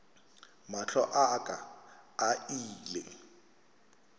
mahlo a ka a ile